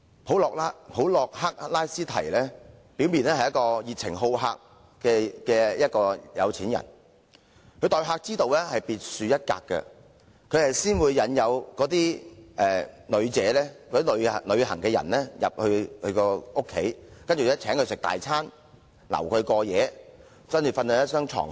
普洛克拉斯堤表面是一個熱情好客的富豪，他的待客之道別樹一格，先會引誘旅遊人士到他家中，然後便邀請他們吃豐富的晚餐甚至過夜，睡在那張床。